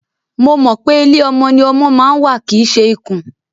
Mo mọ̀ pé ilé ọmọ ni ọmọ ma ń wà kìí ṣe ikùn.